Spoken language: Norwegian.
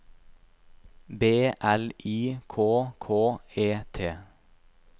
B L I K K E T